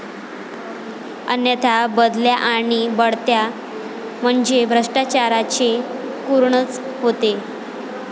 अन्यथा बदल्या आणि बढत्या म्हणजे भ्रष्टाचाराचे कुरणच होते.